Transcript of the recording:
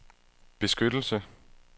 beskyttelse